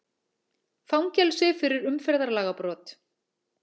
Fangelsi fyrir umferðarlagabrot